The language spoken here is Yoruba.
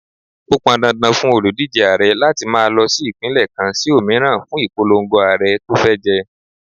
Ó pọn dandan fún òlùdíje Ààrẹ láti máa lọ sí Ìpínlẹ̀ kan sí òmíràn fún ìpolongo Ààrẹ tó fẹ́ jẹ.